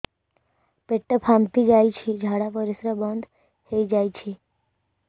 ପେଟ ଫାମ୍ପି ଯାଇଛି ଝାଡ଼ା ପରିସ୍ରା ବନ୍ଦ ହେଇଯାଇଛି